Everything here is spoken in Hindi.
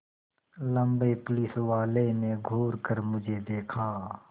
लम्बे पुलिसवाले ने घूर कर मुझे देखा